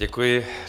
Děkuji.